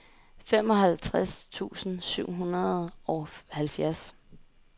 femoghalvtreds tusind syv hundrede og halvfjerds